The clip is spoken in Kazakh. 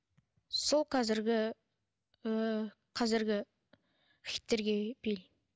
сол қазіргі ііі қазіргі хиттерге билеймін